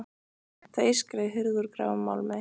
Það ískraði í hurð úr gráum málmi.